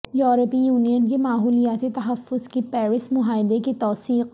یورپی یونین کی ماحولیاتی تحفظ کے پیرس معاہدے کی توثیق